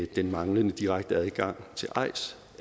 den manglende direkte adgang til eis